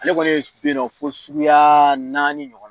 Ale kɔni ye bɛ yen nɔ fo suguya naani ɲɔgɔnna.